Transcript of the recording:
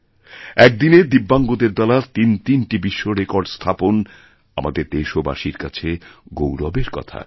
একদিনে দিব্যাঙ্গদের দ্বারা তিনতিনটি বিশ্বরেকর্ড স্থাপন আমাদের দেশবাসীর কাছেগৌরবের কথা